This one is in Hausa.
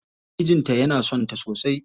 Mijin ta yana son ta sosai.